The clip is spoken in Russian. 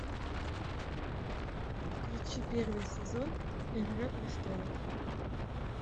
включи первый сезон игра престолов